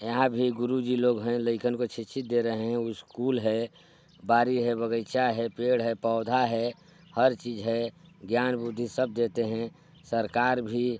यहाँ भी गुरु जी लोग हैं लेकन को शिक्षित दे रहे हैं स्कूल हैं बारी हैं बगीचा है पेड़ हैं पौधा हैं हर चीज़ है ज्ञान बुद्धि सब देते हैं सरकार भी--